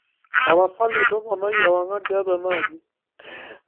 tapasali tuponai ewang'an tiatua ena aji